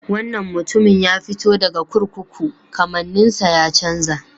Wannan mutumin ya fito daga kurkuku, kamanninsa ya chanza.